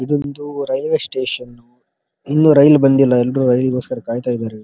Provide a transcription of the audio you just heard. ಇದೊಂದು railway station ಇನ್ನು rail ಬಂದಿಲ್ಲ ಎಲ್ಲರೂ ರೈಲಿ ಗೋಸ್ಕರ ಕಾಯ್ತಾ ಇದ್ದಾರೆ ಇಲ್ಲಿ --